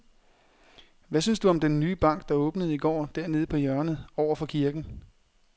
Hvad synes du om den nye bank, der åbnede i går dernede på hjørnet over for kirken?